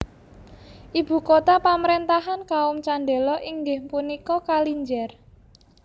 Ibu kota pamaréntahan kaum Chandela inggih punika Kalinjar